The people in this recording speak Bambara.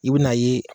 I bɛ n'a ye